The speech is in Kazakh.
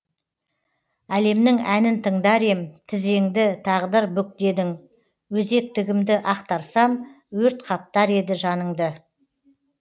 әлемнің әнін тыңдар ем тізеңді тағдыр бүк дедің өзектегімді ақтарсам өрт қаптар еді жаныңды